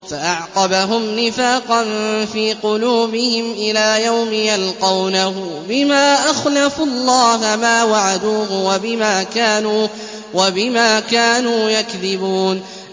فَأَعْقَبَهُمْ نِفَاقًا فِي قُلُوبِهِمْ إِلَىٰ يَوْمِ يَلْقَوْنَهُ بِمَا أَخْلَفُوا اللَّهَ مَا وَعَدُوهُ وَبِمَا كَانُوا يَكْذِبُونَ